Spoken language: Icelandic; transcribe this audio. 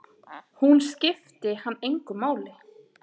Hún skipti hann engu máli.